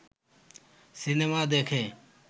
cinema দেখে